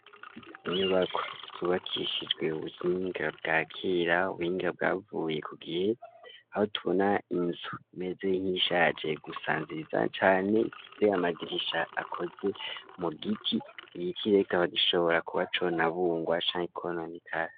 Inyubako zubakishijwe ubuhinga bwakira ubuhinga bwavuye kugihe aho tubona inzu meze nk'ishaje gusa nziza cane ifise amadirisha akoze mu giti igiti aho gishobora kuba co na bungwa cane.